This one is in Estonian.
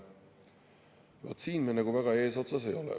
Vaat, siin me väga eesotsas ei ole.